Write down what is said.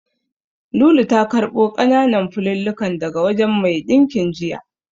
Lulu ta karɓo ƙananan fulallikan daga wajen mai ɗinkin jiya.